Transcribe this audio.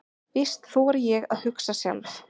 Víst þori ég að hugsa sjálf.